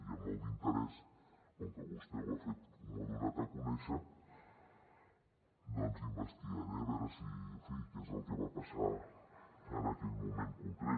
i amb molt d’interès com que vostè ho ha fet m’ho ha donat a conèixer doncs investigaré a veure si en fi què és el que va passar en aquell moment concret